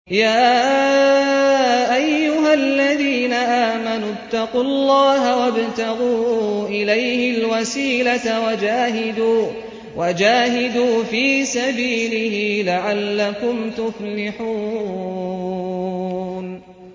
يَا أَيُّهَا الَّذِينَ آمَنُوا اتَّقُوا اللَّهَ وَابْتَغُوا إِلَيْهِ الْوَسِيلَةَ وَجَاهِدُوا فِي سَبِيلِهِ لَعَلَّكُمْ تُفْلِحُونَ